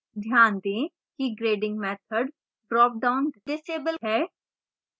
ध्यान दें कि grading methodड्रॉपडाउन डिसेबल है